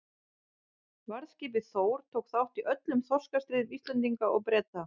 Varðskipið Þór tók þátt í öllum þorskastríðum Íslendinga og Breta.